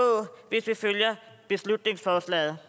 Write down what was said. hvis vi følger beslutningsforslaget